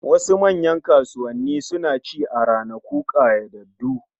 Wasu manyan kasuwanni suna ci a ranaku ƙayyadaddu